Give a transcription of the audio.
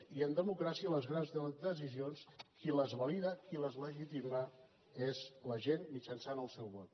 i en democràcia les grans decisions qui les valida qui les legitima és la gent mitjançant el seu vot